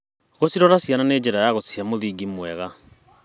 Gũcirora ciana nĩ njĩra ya gũcihe mũthingi mwega.